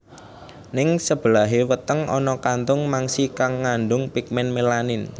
Ning sebelahé weteng ana kantung mangsi kang ngandung pigmen melanin